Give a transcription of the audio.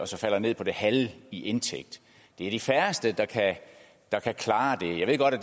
så falder ned på det halve i indtægt det er de færreste der kan klare det jeg ved godt at